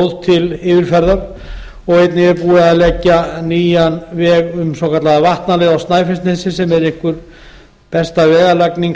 góð til yfirferðar einnig er búið að leggja nýjan veg um svokallaða vatnaleið á snæfellsnesi sem er einhver besta vegalagning